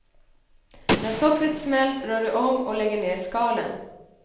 När sockret smält rör du om och lägger ner skalen.